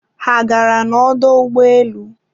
ha a gara n'ọdọ ụgbọelu?